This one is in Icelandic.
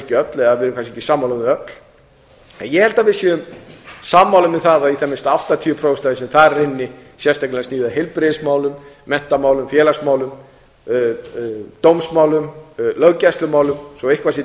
ekki öll eða við erum kannski ekki sammála um þau öll en ég held að við séum sammála um það að minnsta kosti áttatíu prósent af því sem þar er inni sérstaklega sem snýr að heilbrigðismálum menntamálum félagsmálum dómsmálum löggæslumálum svo eitthvað sé